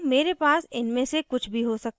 मेरे पास इनमे से कुछ भी हो सकता है